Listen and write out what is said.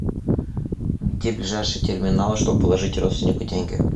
где ближайший терминал чтобы положить родственнику деньги